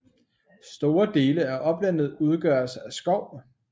Store dele af oplandet udgøres af skov